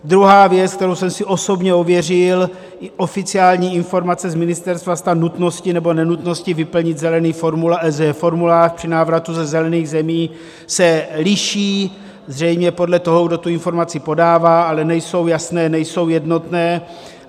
Druhá věc, kterou jsem si osobně ověřil, oficiální informace z ministerstva stran nutnosti nebo nenutnosti vyplnit zelený formulář při návratu ze zelených zemí, se liší zřejmě podle toho, kdo tu informaci podává, ale nejsou jasné, nejsou jednotné.